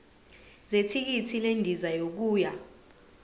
zethikithi lendiza yokuya